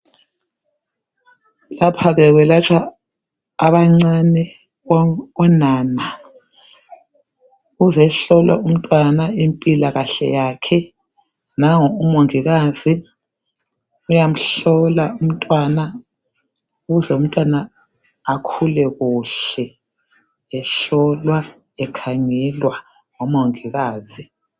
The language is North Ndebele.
Lapha-ke ukwelatshwa abancane, onana. Uzohlolwa umntwana impilakahle yakhe nangu umongikazi uyamhlola umntwana ukuze umntwana akhule kuhle, ehlolwa, ekhangelwa ngomongikazi.